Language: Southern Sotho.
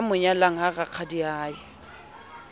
ya mo nyalang ha rakgadiae